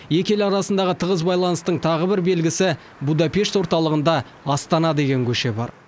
екі ел арасындағы тығыз байланыстың тағы бір белгісі будапешт орталығында астана деген көше бар